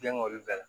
Den ŋ'olu bɛɛ la